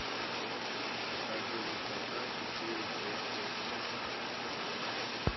покажи высота четыре к окко